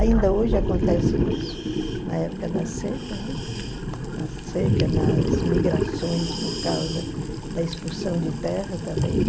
Ainda hoje acontece isso, na época da seca, né, na seca, nas migrações por causa da expulsão de terra também.